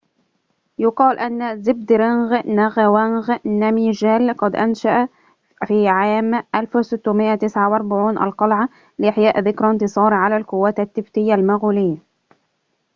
يقال أن زبدرنج نغاوانغ نامجيال قد أنشأ في عام 1649 القلعة لإحياء ذكرى انتصاره على القوات التبتية المغولية